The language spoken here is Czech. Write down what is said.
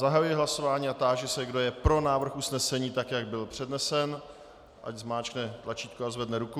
Zahajuji hlasování a táži se, kdo je pro návrh usnesení, tak jak byl přednesen, ať zmáčkne tlačítko a zvedne ruku.